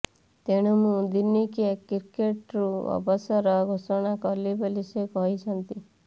ତେଣୁ ମୁଁ ଦିନିକିଆ କ୍ରିକେଟ୍ରୁ ଅବସର ଘୋଷଣା କଲି ବୋଲି ସେ କହିଛନ୍ତି